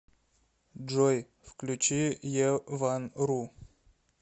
джой включи е ван ру